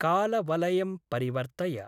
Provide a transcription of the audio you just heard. कालवलयं परिवर्तय।